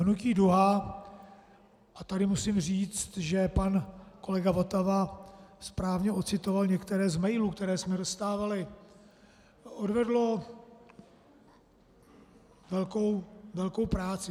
Hnutí Duha - a tady musím říct, že pan kolega Votava správně ocitoval některé z mailů, které jsme dostávali - odvedlo velkou práci.